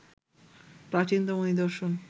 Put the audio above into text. প্রাচীনতম নিদর্শন